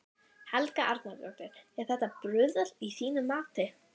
Helga Arnardóttir: Er þetta bruðl að þínu mati?